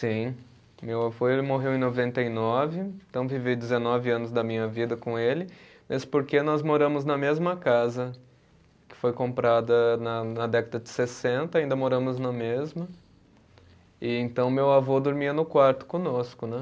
Sim, meu avô ele morreu em noventa e nove, então vivi dezenove anos da minha vida com ele, mas porque nós moramos na mesma casa que foi comprada na na década de sessenta, ainda moramos na mesma, e então meu avô dormia no quarto conosco, né?